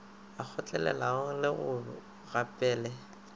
a kgotlelelang le go gopele